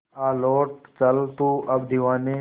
आ लौट चल तू अब दीवाने